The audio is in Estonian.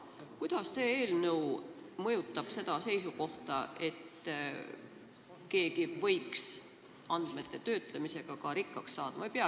Kuidas see eelnõu mõjutab seda seisukohta, et keegi võiks andmete töötlemisega ka rikkaks saada?